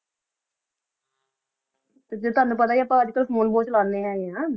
ਜਿਦਾਂ ਤਨੁ ਪਤਾ ਈ ਆ ਆਪਾਂ ਅਜੇ ਕਲ phone ਬੋਹਤ ਚਲਾਨੀ ਹੇਗੇ ਆਂ